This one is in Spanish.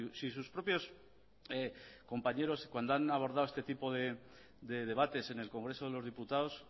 si sus propios compañeros cuando han abordado este tipo de debates en el congreso de los diputados